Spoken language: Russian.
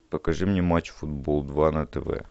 покажи мне матч футбол два на тв